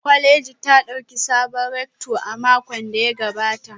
Kwaleji ta dauki sabon rector a makon da ya gabata